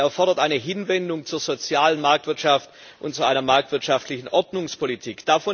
Sie erfordert eine Hinwendung zur sozialen Marktwirtschaft und zu einer marktwirtschaftlichen Ordnungspolitik.